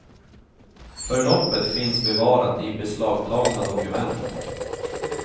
Förloppet finns bevarat i beslagtagna dokument.